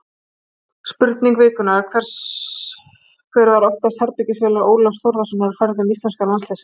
Spurning vikunnar: Hver var oftast herbergisfélagi Ólafs Þórðarsonar á ferðum íslenska landsliðsins?